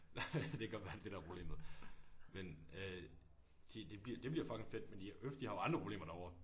Nej ja det kan godt være det er det der er problemet men øh de det det bliver det bliver fucking fedt men øf det de har jo andre problemer derovre